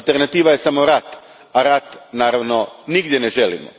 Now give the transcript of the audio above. Alternativa je samo rat, a rat naravno nigdje ne želimo.